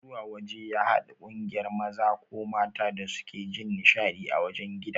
Zuwa waje ya hada kungiyar maza ko mata da suke Jin nishadi ã wajen gida.